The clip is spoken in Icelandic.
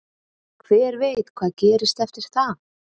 Hver veit hvað gerist eftir það?